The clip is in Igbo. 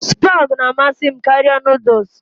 Spag na-amasị m karịa Nụ́dúls